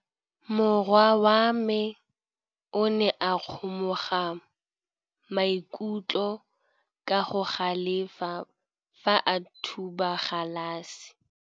Morwa wa me o ne a kgomoga maikutlo ka go galefa fa a thuba galase.